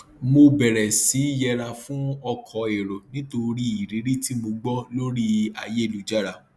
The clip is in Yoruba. mo bẹrẹ sí í yẹra fún ọkọ èrò nítorí irírí tí mo gbọ lórí ayélujára